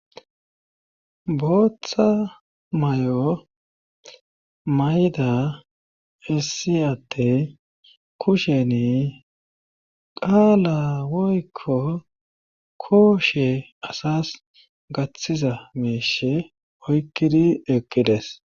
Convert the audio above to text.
Bootha mayo mayida issi adde kusheni qaalaa woykko kooshee asas gaththiza miishi oykkidi eqqides.